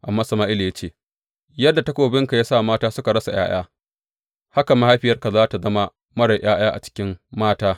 Amma Sama’ila ya ce, Yadda takobinka ya sa mata suka rasa ’ya’ya, haka mahaifiyarka za tă zama marar ’ya’ya a cikin mata.